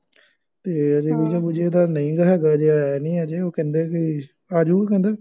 ਇਹ ਆ ਬਈ ਵੀਜ਼ਾ ਵੂਜ਼ਾ ਇਹਦਾ ਨਹੀਂ ਗਾ ਹੈਗਾ ਹਜੇ ਆਇਆ ਨਹੀਂ ਹਜੇ ਉਹ ਕਹਿੰਦੇ ਬਈ ਆ ਜਾਊ ਕਹਿੰਦਾ